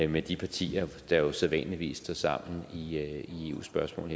med de partier der jo sædvanligvis står sammen i eu spørgsmål